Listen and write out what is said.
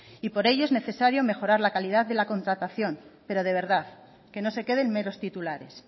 y por ello es necesario mejorar la calidad de la contratación pero de verdad que no se quede en meros titulares